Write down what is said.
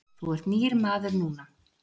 Þú ert nýr maður núna.